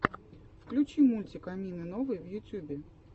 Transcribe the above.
включи мультик амины новой в ютюбе